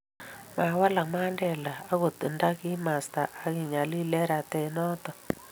mawalaka Mandela akot nta kikimasta ake nyalil eng' rate noto